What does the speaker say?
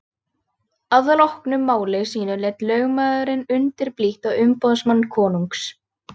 Að loknu máli sínu leit lögmaðurinn undurblítt á umboðsmann konungs.